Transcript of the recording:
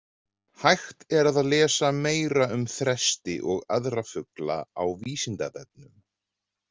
Hægt er að lesa meira um þresti og aðra fugla á Vísindavefnum.